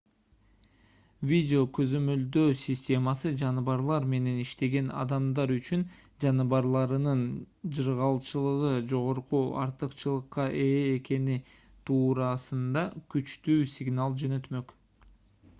видео көзөмөлдөө системасы жаныбарлар менен иштеген адамдар үчүн жаныбарларынын жыргалчылыгы жогорку артыкчылыкка ээ экени туурасында күчтүү сигнал жөнөтмөк